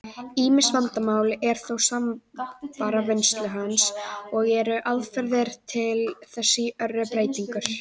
Ýmis vandamál eru þó samfara vinnslu hans, og eru aðferðir til þess í örri breytingu.